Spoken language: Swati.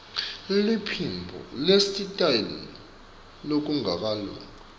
liphimbo nesitayela lokungakalungi